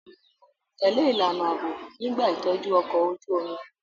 Tẹ̀lé ìlànà ààbò nígbà ìtọ́jú ọkọ̀ ojú omi